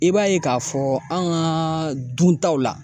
I b'a ye k'a fɔ an kaaa duntaw la.